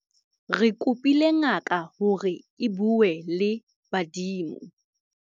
re kopile ngaka hore e bue le badimo